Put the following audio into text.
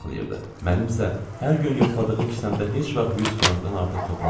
Mənim isə hər gün yoxladığı kisəmdə heç vaxt 100 frankdan artıq toplanmırdı.